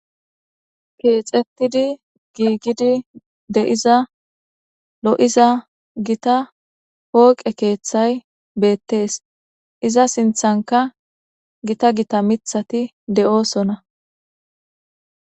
Keexetidi giigidi de,iza lo,iza gita hooqe keeththay beettees iza sinthanka gita gita mithati de,oosona.